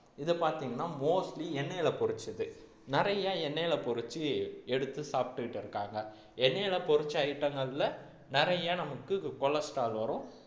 இதை பார்த்தீங்கன்னா mostly எண்ணெயில பொரிச்சது நிறைய எண்ணெயில பொரிச்சு எடுத்து சாப்பிட்டுட்டு இருக்காங்க எண்ணெயில பொரிச்ச item ங்கள்ல நிறைய நமக்கு cholesterol வரும்